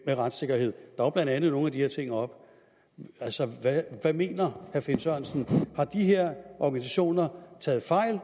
med retssikkerhed der var blandt andet nogle af de her ting oppe altså hvad mener herre finn sørensen har de her organisationer taget fejl